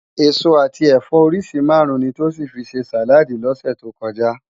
Esó ati ẹfọ óriṣi márùn ni Tosin fi sé sáládì lòsè tó kòjá